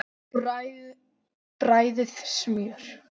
Bræðið smjör.